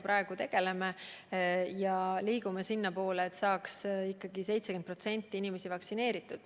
Praegu me tegeleme sellega ja liigume sinnapoole, et saaks 70% inimesi vaktsineeritud.